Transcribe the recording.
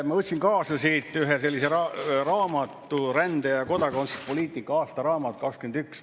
Ma võtsin kaasa ühe sellise raamatu, "Rände‑ ja kodakondsuspoliitika aasta 2021".